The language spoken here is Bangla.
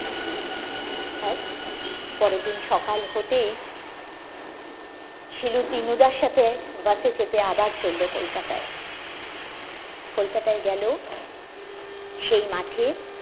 পরের দিন সকাল হতেই শিলু দীনুদার সাথে বাসে চেপে আবার চলল কলকাতায় কলকাতায় গেলো সেই মাঠে